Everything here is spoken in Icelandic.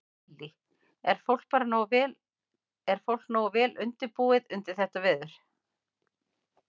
Lillý: Er fólk bara nógu vel, er fólk nógu vel undirbúið undir þetta veður?